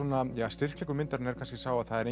styrkleikum myndarinnar er kannski sá að það er